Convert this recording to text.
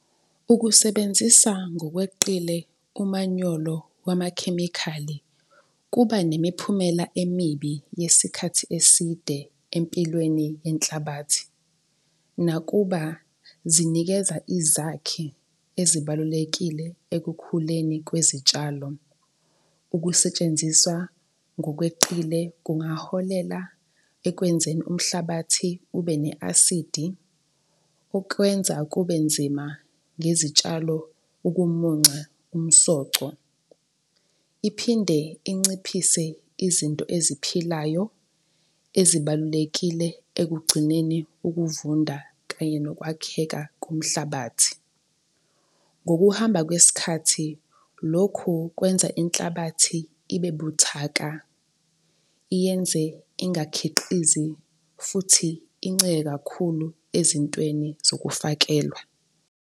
Ukusebenzisa ngokweqile umanyolo wamakhemikhali kuba nemiphumela emibi yesikhathi eside empilweni yenhlabathi, nakuba zinikeza izakhi ezibalulekile ekukhuleni kwezitshalo. Ukusetshenziswa ngokweqile kungaholela ekwenzeni umhlabathi ube ne-acid-i, okwenza kube nzima ngezitshalo ukumunca umsoco. Iphinde inciphise izinto eziphilayo ezibalulekile ekugcineni ukuvunda kanye nokwakheka komhlabathi. Ngokuhamba kwesikhathi, lokhu kukwenza inhlabathi ibe buthaka, iyenze ingakhiqizi futhi incike kakhulu ezintweni zokufakelwa.